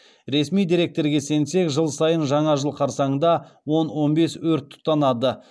ресми деректерге сенсек жыл сайын жаңа жыл қарсаңында он он бес өрт тұтанады